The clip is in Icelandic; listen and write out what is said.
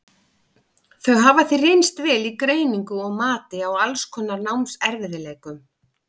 Þau hafa því reynst vel í greiningu og mati á alls konar námserfiðleikum.